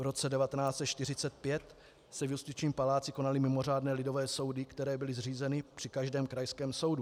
V roce 1945 se v justičním paláci konaly mimořádné lidové soudy, které byly zřízeny při každém krajském soudu.